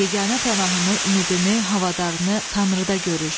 Yeganə pənahını, ümidini, havadarını Tanrıda görür.